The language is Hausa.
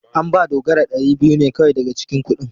An ba Dogara dari biyu ne kawai daga cikin kudin.